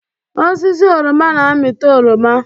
Osisi oroma na-amịta oroma